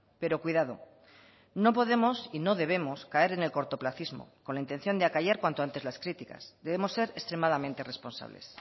pero cuidado no podemos y no debemos caer en el cortoplacismo con la intención de acallar cuanto antes las críticas debemos ser extremadamente responsables